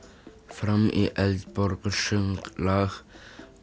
fram í Eldborg og söng lag